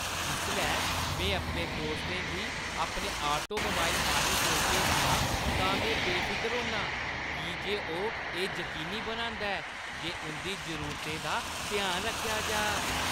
जिसलै में अपने दोस्तें गी अपने ऑटोमोबाइल माहिर कोल भेजना आं तां में बेफिकर होन्नां की जे ओह् एह् जकीनी बनांदा ऐ जे उंʼदी जरूरतें दा ध्यान रक्खेआ जाऽ।